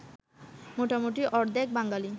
মোটামুটি অর্ধেক বাঙালি